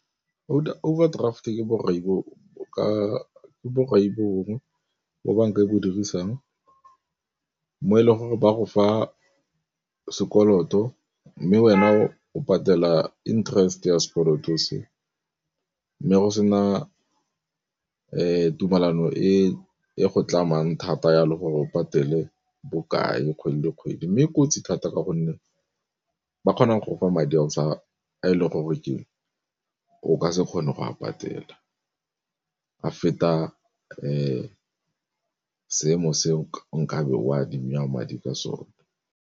Overdraft ke borai bo bongwe bo banka e bo dirisang mo e leng gore ba go fa sekoloto, mme wena o patela interest ya sekoloto se. Mme go se na e tumelano e go tlamang thata yalo gore o patele bokae kgwedi le kgwedi. Mme e kotsi thata ka gonne ba kgonang go kwa madi a e le gore keng o ka se kgone go a patela. A feta seemo seo nkabe o ka be o adima madi ka sona.